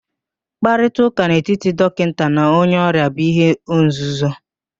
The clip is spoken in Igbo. Mkparịtaụ́ká n'etiti dọkịnta na onye ọrịa bu ihe nzuzo